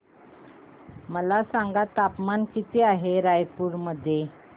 मला सांगा तापमान किती आहे रायपूर मध्ये